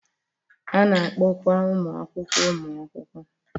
A na-akpọkwa ụmụ akwụkwọ ụmụ akwụkwọ.